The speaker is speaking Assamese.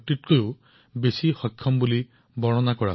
সঁচাকৈয়ে বাবা শিৱানন্দৰ জীৱনে আমাৰ সকলোকে অনুপ্ৰাণিত কৰিব